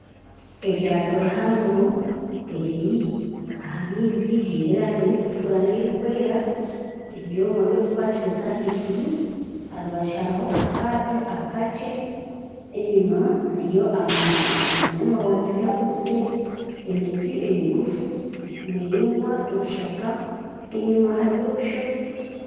Eryato rihango eriri aha maizi giine erangi erikutukura n'erikwera, ebyoma byokukwatiriza ahiguru aharubaju hariho akaato akakye enyima hariyo amaju agiine amabaati gakuzire, emiti emigufu, emiringwa, ebishaka enyima hariyo obushozi.